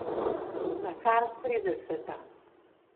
Nakar trideseta.